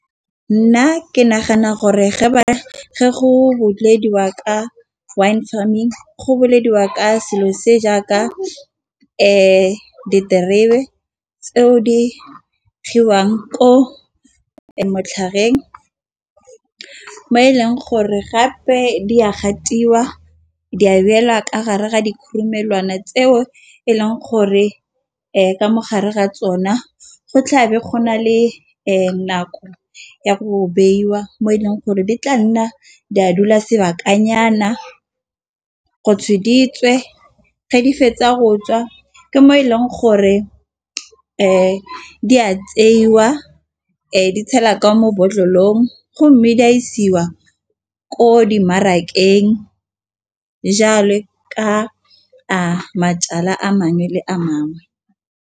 Nna ke nagana gore, ge ba ge go rotloediwa ka wine farming. Go boleleliwa ka selo se, jaaka diterebe tseo di gogiwang ko mo setlhareng. Mo e leng gore gape di a gatiwa di abelwa ka gare ga dikgurumelwana tseo e leng gore ka mogare ga tsona go tlhabe go na le nako ya go beiwa. Mo e leng gore di tla nna di a dula sebakanyana kgotsa ge di fetsa go tswa ke mo e leng gore fa di a tseiwa. Di tshelwa kwa mo botlolong go mme di a isiwa ko dimarakeng jale ka a majalwa a mangwe le a mangwe.